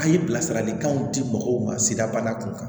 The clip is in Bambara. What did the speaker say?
A' ye bilasiralikanw di mɔgɔw ma sigida bana kunkan